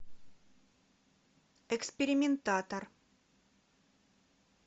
экспериментатор